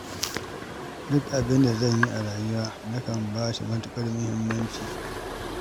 Duk abinda zan yi a rayuwa nakan ba shi matuƙar muhimmanci.